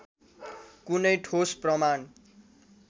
कुनै ठोस प्रमाण